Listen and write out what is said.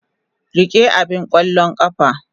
Rike abin ƙwallon ƙafa.